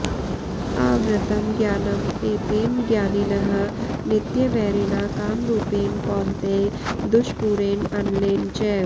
आवृतं ज्ञानम् एतेन ज्ञानिनः नित्यवैरिणा कामरूपेण कौन्तेय दुष्पूरेण अनलेन च